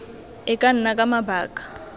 e ka nna ka mabaka